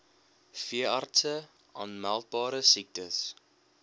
veeartse aanmeldbare siektes